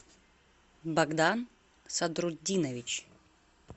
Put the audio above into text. богдан сатрутдинович